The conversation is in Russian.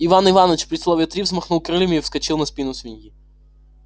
иван иваныч при слове три взмахнул крыльями и вскочил на спину свиньи